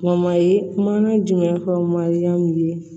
ye mana jumɛn fɔ mariyamu ye